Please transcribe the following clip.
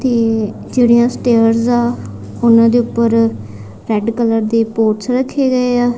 ਤੇ ਜੇਹੜੀਆਂ ਸਟੇਅਰਸ ਆਂ ਓਹਨਾਂ ਦੇ ਊਪਰ ਰੈੱਡ ਕਲਰ ਦੇ ਪੋਟਸ ਰੱਖੇ ਗਏਆ।